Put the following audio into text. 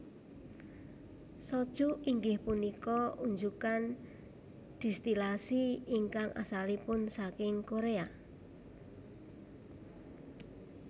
Soju inggih punika unjukan distilasi ingkang asalipun saking Korea